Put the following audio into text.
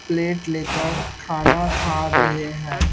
Plate ले कर खाना खा रहे हैं।